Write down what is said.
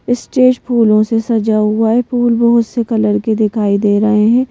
Stage फूलों से सजा हुआ है फूल बहुत से कलर के दिखाई दे रहे हैं।